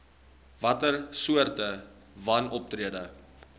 watter soorte wanoptrede